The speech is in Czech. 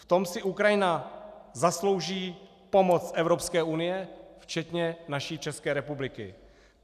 V tom si Ukrajina zaslouží pomoc Evropské unie včetně naší České republiky.